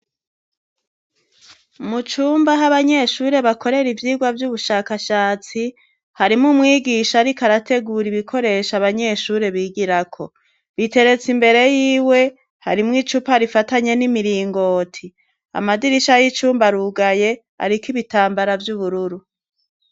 Mu cumba aho abanyeshuri bakorera ivyigwa vy'ubushakashatsi, harimwo umwigisha ariko arategura ibikoresho abanyeshuri bigirako, biteretse imbere y'iwe. Harimwo icupa rifatanye n'imiringoti. Amadirisha y'icumba arugaye , ariko ibitambara vy'ubururu.